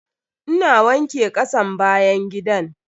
Ina wanke kasan bayan gidan.